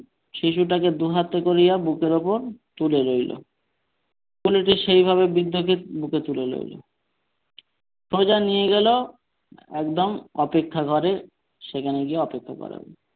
শিশুটাকে দুইহাতে করিয়া বুকের উপর তুলে লইল কুলি সেইভাবে বৃদ্ধকে বুকে তুলে লইল সোজা নিয়ে গেল একদম অপেক্ষা ঘরে সেখানে গিয়ে অপেক্ষা করালো।